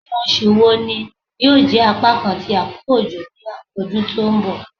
Awọn oṣu wo ni yoo jẹ apakan ti akoko ojo ni awọn ọdun ti n bọ?